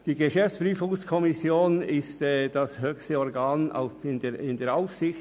Die GPK ist das höchste Organ innerhalb der Aufsicht.